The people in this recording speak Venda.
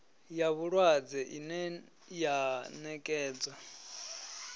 ya vhulwadze ine ya nekedzwa